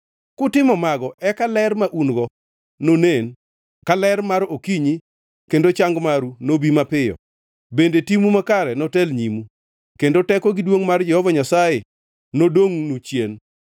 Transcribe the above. Kutimo mago eka ler ma un-go nonen ka ler mar okinyi kendo chang maru nobi mapiyo; bende timu makare notel nyimu kendo teko gi duongʼ mar Jehova Nyasaye nodongʼnu chien.